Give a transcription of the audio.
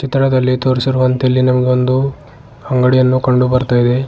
ಚಿತ್ರದಲ್ಲಿ ತೋರಿಸಿರುವಂತೆ ಇಲ್ಲಿ ನಮಗೆ ಒಂದು ಅಂಗಡಿಯೋ ಕಂಡು ಬರ್ತಾ ಇದೆ.